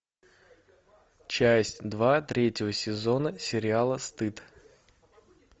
часть два третьего сезона сериала стыд